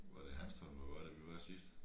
Var det Hanstholm eller hvor var det vi var sidst